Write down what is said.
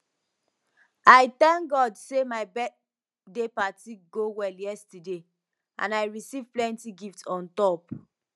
i thank god say my birthday party go well yesterday and i receive plenty gift on top